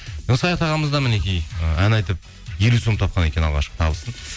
саят ағамыз да мінекей ы ән айтып елу сом тапқан екен алғашқы табысын